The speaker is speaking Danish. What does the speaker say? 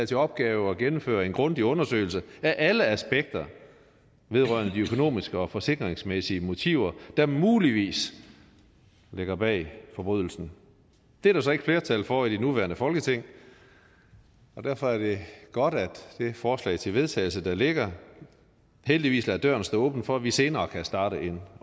til opgave at gennemføre en grundig undersøgelse af alle aspekter vedrørende de økonomiske og forsikringsmæssige motiver der muligvis ligger bag forbrydelsen det er der så ikke flertal for i det nuværende folketing og derfor er det godt at det forslag til vedtagelse der ligger heldigvis lader døren stå åben for at vi senere kan starte en